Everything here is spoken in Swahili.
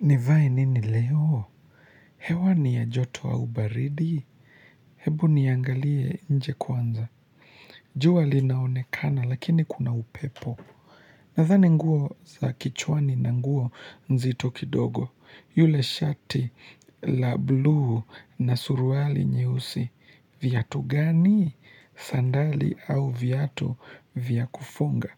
Nivai nini leo? Hewa ni ya joto ua ubaridi? Hebu niangalie nje kwanza. Jua linaonekana lakini kuna upepo. Nadhani nguo za kichwani na nguo nzito kidogo. Yule shati la bluu na suruali nyeusi. Viatu gani? Sandali au viatu vya kufunga?